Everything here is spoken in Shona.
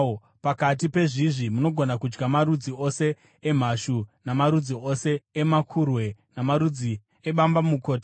Pakati pezvizvi munogona kudya marudzi ose emhashu, namarudzi ose amakurwe namarudzi ebambamukota.